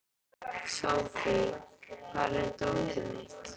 Sophie, hvar er dótið mitt?